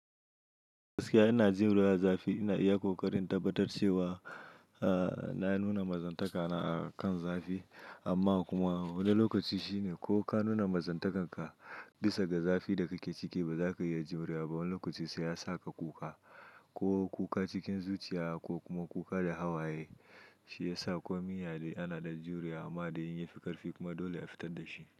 Gaskiya ina jin ruwan zafi, ina iya ƙoƙarin tabbatar cewa na nuna mazantaka na akan zafi, amma kuma wani lokaci shine ko ka nuna mazantakarka bisa ga zafi, da kake ciki ba za ka iya jurewa ba. Wani lokaci sai ya sa ka kuka, ko kuka cikin zuciya, ko kuma kuka da hawaye shi ya sa. Komin yaya dai ana ɗan jurewa, amma dai in yafi ƙarfi kuma dole a fitar da shi.